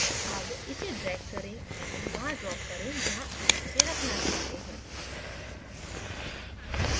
अब इसे drag करें एवं वहाँ drop करें जहाँ आप इसे रखना चाहते हों